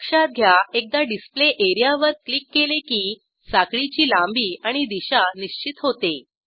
लक्षात घ्या एकदा डिस्पले एरियावर क्लिक केले की साखळीची लांबी आणि दिशा निश्चित होते